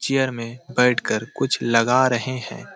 Chair में बैठ के कुछ लगा रहे हैं।